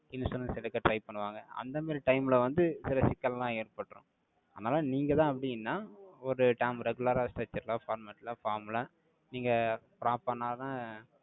insurance எடுக்க try பண்ணுவாங்க. அந்த மாதிரி time ல வந்து, சில சிக்கல் எல்லாம் ஏற்பட்ரும். அதனால, நீங்கதான் அப்படின்னா, ஒரு term regular ஆ structure ல, format ல, form ல, நீங்க prop பண்ணா தான்,